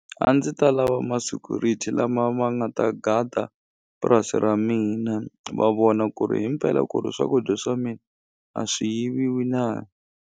A ndzi ta lava ma-security lama ma nga ta gada purasi ra mina va vona ku ri hi mpela ku ri swakudya swa mina a swi yiviwi na.